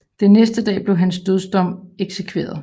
Den næste dag bliver hans dødsom eksekveret